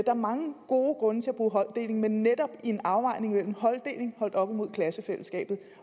er mange gode grunde til at bruge holddeling men netop i en afvejning af holddeling holdt op imod klassefællesskabet